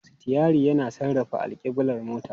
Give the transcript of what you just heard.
Sitiyari yana sarrafa alkiblar motar.